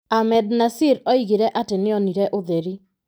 Ahmednasir oigire atĩ nĩonire ũtheri.